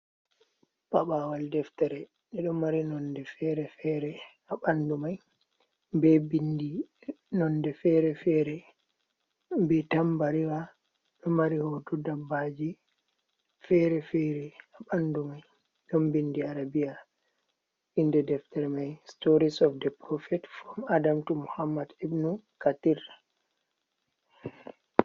Paɓaawal deftere, nde ɗo mari nonnde fere-fere haa ɓanndu may, bee binndi nonnde fere-fere, bee tambariwa ɗo mari hooto dabbaji fere-fere, haa ɓanndu may dom binndi Arabiya, innde deftere may, Stories of the Profet from Adam to Muhammad Ibnu Katirra.